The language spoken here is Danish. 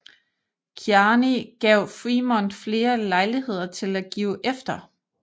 Kearny gav Frémont flere lejligheder til at give efter